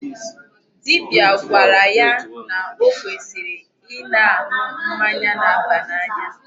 Dibia gwara yá nà ọ kwesịrị ịna-aṅụ mmanya na-aba n'anya.